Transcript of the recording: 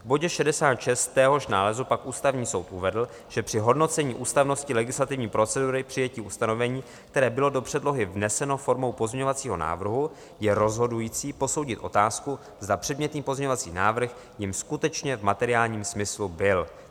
V bodě 66 téhož nálezu pak Ústavní soud uvedl, že při hodnocení ústavnosti legislativní procedury přijetí ustanovení, které bylo do předlohy vneseno formou pozměňovacího návrhu, je rozhodující posoudit otázku, zda předmětný pozměňovací návrh jím skutečně v materiálním smyslu byl.